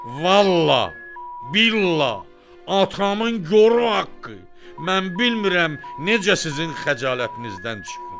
Vallahi, billahi, atamın gor haqqı, mən bilmirəm necə sizin xəcalətinizdən çıxım.